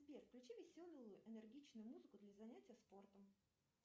сбер включи веселую энергичную музыку для занятий спортом